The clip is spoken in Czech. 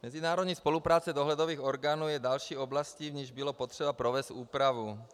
Mezinárodní spolupráce dohledových orgánů je další oblastí, v níž bylo potřeba provést úpravu.